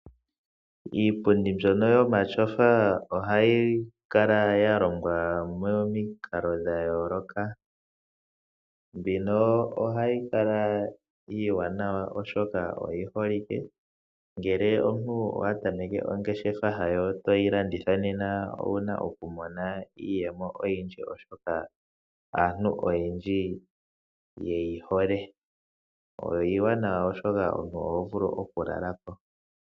Iipundi mbyono yomatyofa ohayi kala yalongwa momikalo dhayooloka, mbino ohayi kala iiwanawa oshoka oyi holike. Ngele omuntu okwa tameke ongeshefa yoye toyi landitha nena owuna oku mona iiyemo oyindji oshoka aantu oyendji oye yihole. Iiwanawa oshoka oho vulu oku lala ko.